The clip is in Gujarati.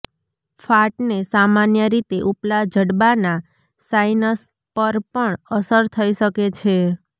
ફાટને સામાન્ય રીતે ઉપલા જડબાનાં સાઇનસ પર પણ અસર થઈ શકે છે